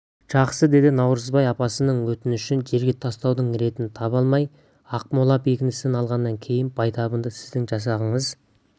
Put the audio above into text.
жақсы деді наурызбай апасының өтінішін жерге тастаудың ретін таба алмай ақмола бекінісін алғаннан кейін байтабынды сіздің жасағыңыз